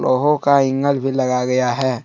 लोहों का एंगल भी लगा गया है।